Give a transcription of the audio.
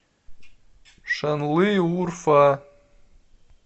шанлыурфа